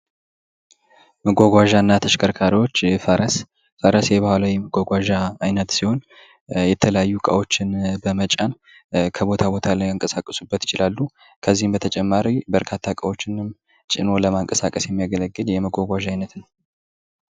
መጓጓዣ እና ተሽከርካሪዎች ፈረስ ፈረስ የባህላዊ የመጓጓዣ አይነት ሲሆን የተለያዩ እቃዎችን በመጫን ከቦታ ቦታ ሊያንቀሳቅሱበት ይችላሉ። ከዚህም በተጨማሪ በርካታ እቃዎችንም ጭኖ ለመንቀሳቀስ የሚያገለግል የመጓጓዣ አይነት ነው።